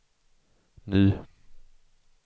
ny